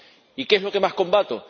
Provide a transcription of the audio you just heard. ¿Y qué es lo que más combato?